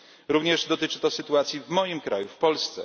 Również dotyczy to sytuacji w moim kraju, w Polsce.